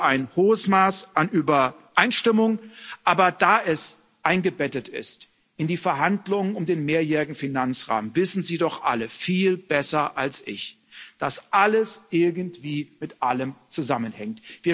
Ich sehe ein hohes Maß an Übereinstimmung, aber da es eingebettet ist in die Verhandlungen um den mehrjährigen Finanzrahmen, wissen Sie doch alle viel besser als ich, dass alles irgendwie mit allem zusammenhängt.